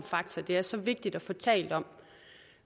faktor det er så vigtigt at få talt om